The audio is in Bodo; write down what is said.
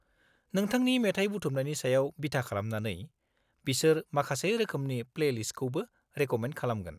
नोंथांनि मेथाइ बुथुमनायनि सायाव बिथा खालामनानै, बिसोर माखासे रोखोमसे प्लेलिस्टखौबो रेक'मेन्द खालामगोन।